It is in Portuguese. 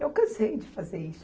Eu cansei de fazer isso.